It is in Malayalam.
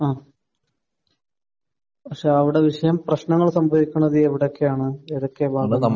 അഹ്. പക്ഷെ അവിടെ വിഷയം പ്രശ്നങ്ങൾ സംഭവിക്കുന്നത് എവിടെയൊക്കെയാണ്, ഏതൊക്കെ